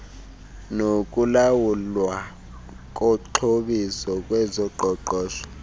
nokulawulwa koxhobiso ngezoqoqosho